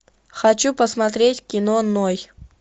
хочу посмотреть кино ной